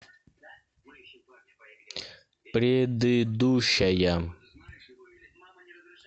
предыдущая